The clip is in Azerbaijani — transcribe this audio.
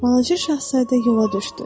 Balaca şahzadə yola düşdü.